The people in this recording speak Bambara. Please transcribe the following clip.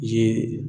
Ye